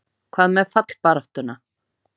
Hvað með fallbaráttuna?